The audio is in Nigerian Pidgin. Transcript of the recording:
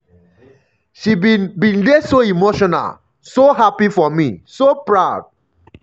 she bin bin dey so emotional so happy for me so proud.